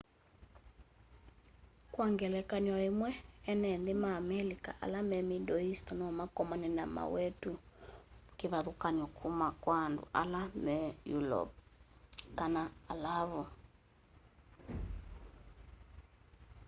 kwa ngelekany'o îmwe ene nthî ma amelika ala me middle east nomakomane na mawetu kîvathûkany'o kuma kwa andu ma eulope kana alavu